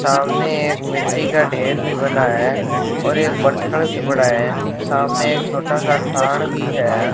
सामने एक मिट्टी का ढेर भी बना है और एक पत्थड़ भी पड़ा है सामने एक छोटा सा भी है।